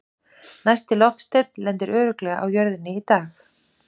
næsti loftsteinn lendir örugglega á jörðinni í dag!